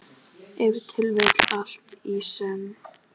Ef til vill allt í senn.